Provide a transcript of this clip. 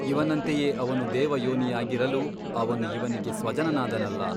ಇವನಂತೆಯೇ ಅವನು ದೇವಯೋನಿಯಾಗಿರಲು ಅವನು ಇವನಿಗೆ ಸ್ವಜನನಾದನಲ್ಲ !